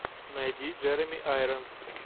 найди джереми айронс